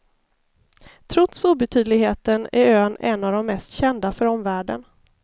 Trots obetydligheten är ön en av de mest kända för omvärlden.